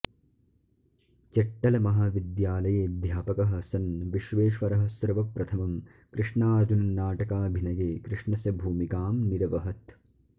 चट्टलमहाविद्यालयेऽध्यापकः सन् विश्वेश्वरः सर्वप्रथमं कृष्णार्जुननाटकाभिनये कृष्णस्य भूमिकां निरवहत्